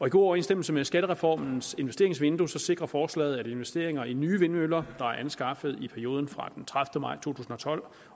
i god overensstemmelse med skattereformens investeringsvindue sikrer forslaget at investeringer i nye vindmøller er anskaffet i perioden fra den tredivete maj to tusind og tolv